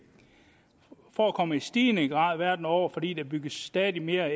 forekommer i stigende grad verden over fordi der bygges stadig mere